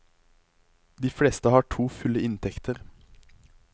De fleste har to fulle inntekter.